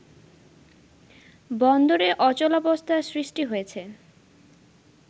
বন্দরে অচলাবস্থার সৃষ্টি হয়েছে